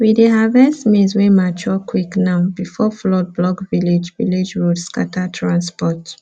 we dey harvest maize wey mature quick now before flood block village village road scatter transport